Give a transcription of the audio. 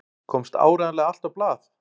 Komst áreiðanlega allt á blað?